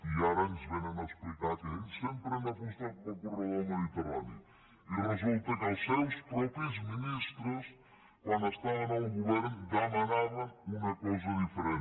i ara ens vénen a explicar que ells sempre han apostat pel corredor mediterrani i resulta que els seus propis ministres quan estaven al govern demanaven una cosa diferent